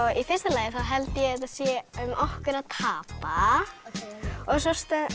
í fyrsta lagi þá held ég að þetta sé um okkur að tapa og svo